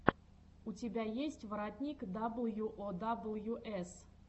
у тебя есть воротник дабл ю о дабл ю эс